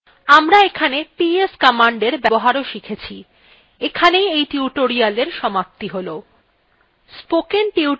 আমরা এখানে ps commander ব্যবহারও শিখেছি এখানেই we tutorialwe সমাপ্তি হল